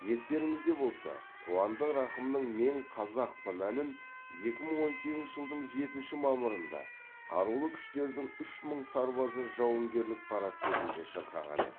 естеріңізде болса қуандық рақымның мен қазақпын әнін екі мың он сегізінші жылдың жетінші мамырында қарулы күштердің үш мың сарбазы жауынгерлік парад кезінде шырқаған еді